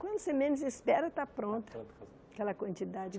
Quando você menos espera, está pronta aquela quantidade.